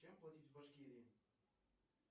чем платить в башкирии